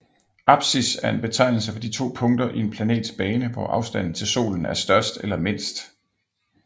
Apsis er en betegnelse for de to punkter i en planets bane hvor afstanden til solen er størst eller mindst